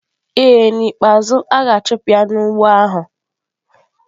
Ee, n'ikpeazụ, a ga-achụpụ ya n'ugbo ahụ.